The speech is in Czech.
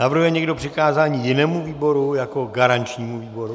Navrhuje někdo přikázání jinému výboru jako garančnímu výboru?